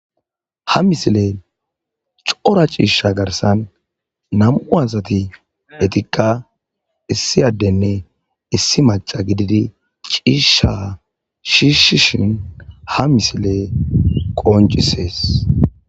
ha misile cora ciishsha garsan nam'u asati etikka issi addenne issi maca gididi ciishsha shiishshishin ha misiley qoncisees